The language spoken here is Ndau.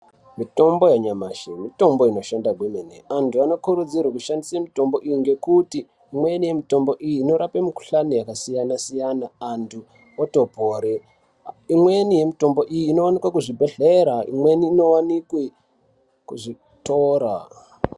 Mitombo yanyamashi mitombo inoshanda kwemene antu anokurudzirwe kushandise mitombo iyi ngekuti imweni mitombo iyi inorape mikhuhlani yakasiyana siyana antu otopore, imweni yemitombo iyi inwanikwe kuzvibhedhlera imweni inowanikwe kuzvitoro.